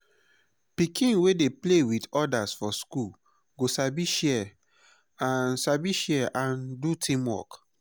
pikin wey dey play with others for school go sabi share and sabi share and do teamwork.